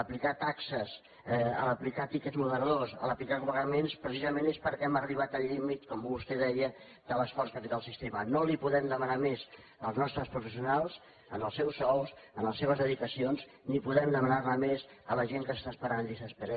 aplicar taxes aplicar tiquets moderadors aplicar copagaments precisament és perquè hem arribat al límit com vostè deia de l’esforç que ha fet el sistema no els podem demanar més als nostres professionals en els seus sous en les seves dedicacions ni podem demanar ne més a la gent que s’està esperant en llista d’espera